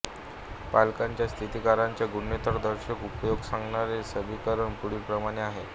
प्लांकच्या स्थिरांकाचा गुणोत्तरदर्शक उपयोग सांगणारे समीकरण पुढीलप्रमाणे आहे